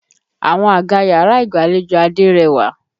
Àwọn àga yàrá ìgbàlejò Adé rẹwà.